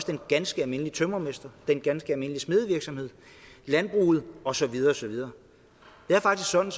den ganske almindelige tømrermester den ganske almindelige smedevirksomhed landbruget og så videre og så videre det er faktisk sådan